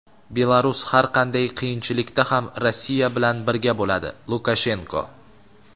Belarus har qanday qiyinchilikda ham Rossiya bilan birga bo‘ladi – Lukashenko.